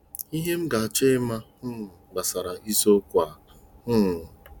Ihe m ga-achọ ịma um gbasara isiokwu a: um